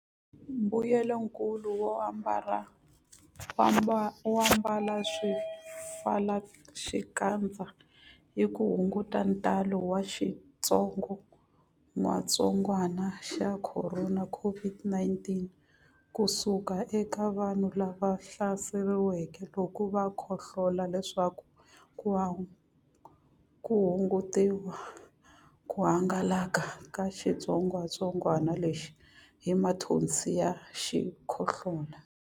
Mbuyelonkulu wo ambala swipfalaxikandza i ku hunguta ntalo wa xitsongwantsongwana xa Khorona, COVID-19, ku suka eka vanhu lava hlaseriweke loko va khohlola leswaku ku hungutiwa ku hangalaka ka xitsongwantsongwana lexi hi mathonsi ya xikhohlola.